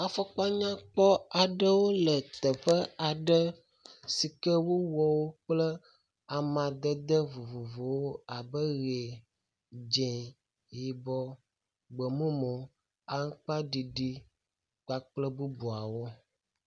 Afɔkpa nyakpɔ aɖewo le teƒe aɖe si ke wowɔ wo kple amadede vovovowo abe ʋi, dzi, yibɔ, gbe mumu, aŋkpaɖiɖi kpakple bubuawo.